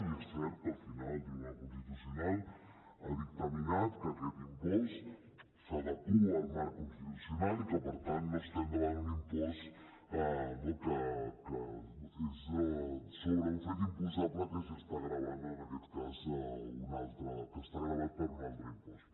i és cert que al final el tribunal constitucional ha dictaminat que aquest impost s’adequa al marc constitucional i que per tant no estem davant d’un impost que és sobre un fet imposable que estigui gravat en aquest cas per un altre impost